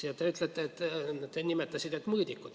Ja te nimetasite, et on mõõdikud.